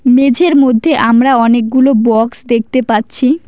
মেঝের মধ্যে আমরা অনেকগুলো বক্স দেখতে পাচ্ছি।